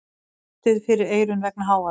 Haldið fyrir eyrun vegna hávaða.